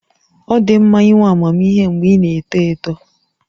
Ọ dị mma inwe amamihe mgbe ị na-eto eto